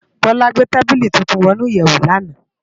Bola gbé tábìlí tútùn wònú iyèwó làná